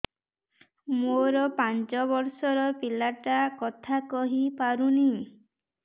ମୋର ପାଞ୍ଚ ଵର୍ଷ ର ପିଲା ଟା କଥା କହି ପାରୁନି